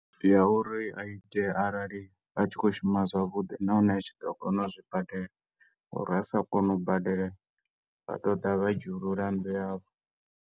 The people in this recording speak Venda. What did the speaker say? Ya uri a ite arali a tshi khou shuma zwavhudi, nahone a tshi ḓo kona u zwi badela, ngo uri a sa kona u badela, vha ḓoḓa vha dzhiulula nnḓu yavho.